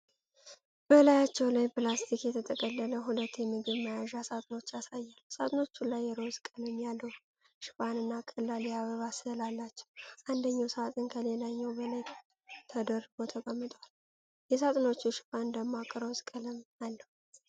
በላያቸው ላይ ፕላስቲክ የተጠቀለለ ሁለት የምግብ መያዣ ሳጥኖችን ያሳያል። ሳጥኖቹ ላይ ሮዝ ቀለም ያለው ሽፋንና ቀላል የአበባ ሥዕል አላቸው። አንደኛው ሳጥን ከሌላው በላይ ተደርቦ ተቀምጧል። የሳጥኖቹ ሽፋን ደማቅ ሮዝ ቀለም አለው።